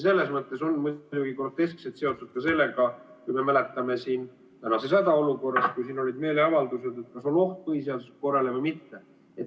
See on muidugi groteskselt seotud ka sellega, mida me mäletame praegusest hädaolukorrast, kui siin olid meeleavaldused, et kas on oht põhiseaduslikule korrale või mitte.